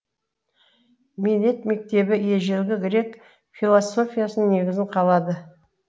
милет мектебі ежелгі грек философиясының негізін қалады